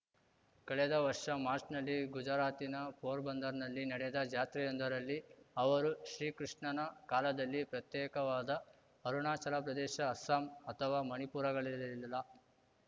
ಕಳೆದ ವರ್ಷ ಮಾಚ್‌ರ್‍ನಲ್ಲಿ ಗುಜರಾತಿನ ಪೋರಬಂದರ್‌ನಲ್ಲಿ ನಡೆದ ಜಾತ್ರೆಯೊಂದರಲ್ಲಿ ಅವರು ಶ್ರೀಕೃಷ್ಣನ ಕಾಲದಲ್ಲಿ ಪ್ರತ್ಯೇಕವಾದ ಅರುಣಾಚಲಪ್ರದೇಶ ಅಸ್ಸಾಂ ಅಥವಾ ಮಣಿಪುರಗಳಿರಲಿಲ್ಲ